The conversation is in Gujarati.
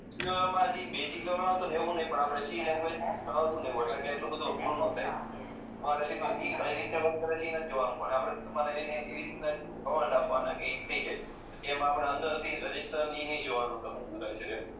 આવતું ને એવું નહી પણ આપણે સી લેંગ્વેજ માં આવતું ને એવું એટલે કે એટલું બધું અધરું ન થાય હમારે સીધું જ એ કઈ રીતે વર્ક કરે છે ઈ નથી જોવાનું પણ આપણે અમારે એને એવી રીત ના કમાંડ આપવાના કે થઈ જાય તેમાં આપણા અંદર ભી રજીસ્ટર ની ને ઈ નહી જોવાનું કે એ શું કરે છે એ